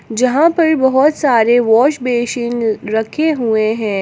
जहां पर बहोत सारे वॉश बेसिन रखे हुए हैं।